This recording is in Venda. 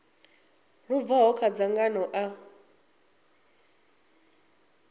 lu bvaho kha dzangano ḽa